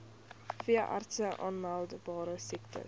veeartse aanmeldbare siektes